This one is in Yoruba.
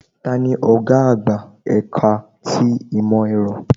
Tani ọ̀gá àgbà ẹ̀ka ti ìmọ̀ ẹ̀rọ?